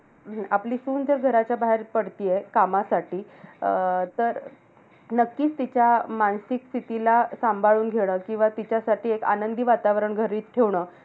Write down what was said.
आपली सून जर घराच्या बाहेर पडतेय, कामासाठी. अं तर नक्कीच तिच्या मानसिक स्थितीला सांभाळून घेणं. किंवा तिच्यासाठी एक आनंदी वातावरण घरी ठेवणं.